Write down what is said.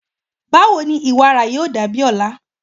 Bawo ni iwara yoo dabi ọla?